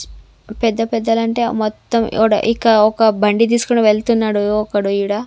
పెద్ద పెద్దలు అంటే మొత్తం ఇవడ ఇక ఒక బండి తీసుకొని వెళ్తున్నాడు ఒకడు ఈడ.